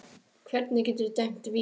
Hvernig geturðu dæmt víti á það?